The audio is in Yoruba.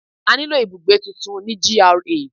A ní lò ibùgbé tuntun ní GRA.